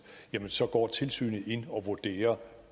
så går tilsynet ind og vurderer